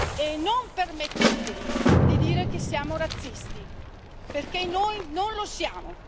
E non permettetevi di dire che siamo razzisti, perché noi non lo siamo.